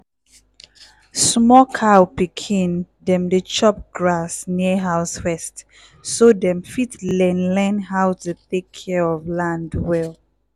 small cow pikin dem dey chop grass near house first so dem fit learn learn how to tek care of land well.